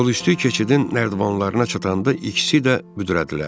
Yol üstü keçidin nərdivanlarına çatanda ikisi də büdrədilər.